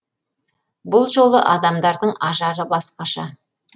бұл жолы адамдардың ажары басқаша